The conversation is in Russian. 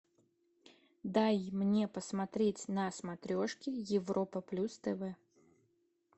дай мне посмотреть на смотрешке европа плюс тв